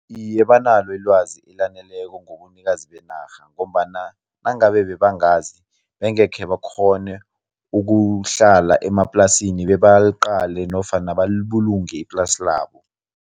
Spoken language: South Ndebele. Iye, banalo ilwazi elaneleko ngobunikazi benarha ngombana nangabe bebangazi bengekhe bakghone ukuhlala emaplasini bebaliqale nofana balibulunge iplasi labo.